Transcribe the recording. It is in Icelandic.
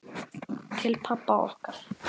Til pabba okkar.